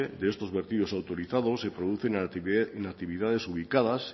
de estos vertidos autorizados se producen en actividades ubicadas